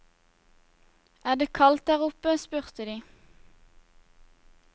Er det kaldt der oppe, spurte de.